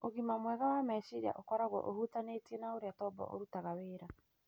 Ũgima mwega wa meciria ũkoragwo ũhutanĩtie na ũrĩa tombo ũrutaga wĩra,